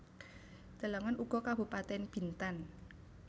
Delengen uga Kabupatèn Bintan